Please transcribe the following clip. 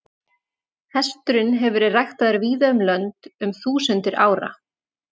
Hesturinn hefur verið ræktaður víða um lönd um þúsundir ára.